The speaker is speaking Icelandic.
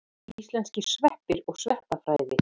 Íslenskir sveppir og sveppafræði.